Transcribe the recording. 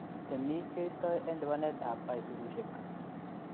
Temik keistoo en lipanetap aisurushek